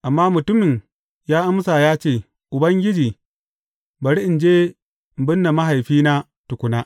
Amma mutumin ya amsa ya ce, Ubangiji, bari in je in binne mahaifina tukuna.